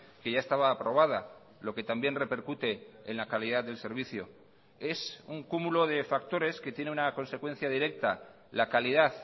que ya estaba aprobada lo que también repercute en la calidad del servicio es un cúmulo de factores que tiene una consecuencia directa la calidad